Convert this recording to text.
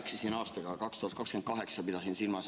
Jaa, ma eksisin aastaga, pidasin silmas aastat 2028.